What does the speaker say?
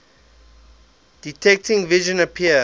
detecting vision appear